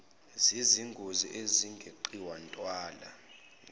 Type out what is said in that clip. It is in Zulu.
zezingozi ezingeqiwa ntwala